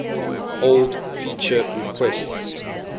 old feature requests